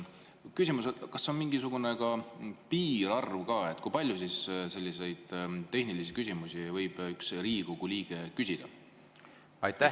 Küsimus: kas on ka mingisugune piirarv, kui palju selliseid tehnilisi küsimusi võib üks Riigikogu liige küsida?